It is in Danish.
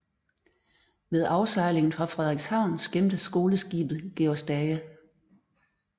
Ved afsejlingen fra Frederikshavn skimtes skoleskibet Georg Stage